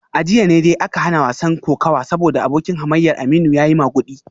A jiya ne dai aka hana wasan kokawa saboda abokin hamayyar Aminu ya yi magudi